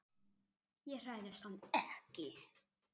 Ég hræðist hann ekki.